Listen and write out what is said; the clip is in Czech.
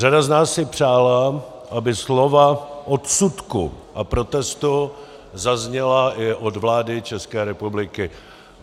Řada z nás si přála, aby slova odsudku a protestu zazněla i od vlády České republiky.